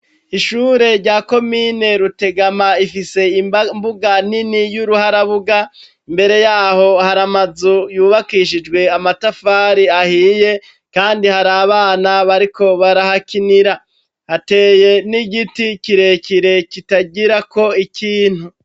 Ishure rya komine Rutegama, Rifise imbuga Nini yuruharabuga, Mbere yaho haramazu yubakishijwe Amatafari ahiye, Kandi hari Abana bariko barahakinira Hateye N'Igiti kirekire kitagirako ikintu.